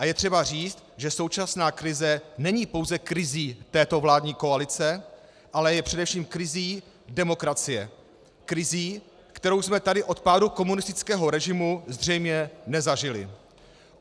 A je třeba říct, že současná krize není pouze krizí této vládní koalice, ale je především krizí demokracie, krizí, kterou jsme tady od pádu komunistického režimu zřejmě nezažili.